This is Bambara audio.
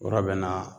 Yɔrɔ bɛ na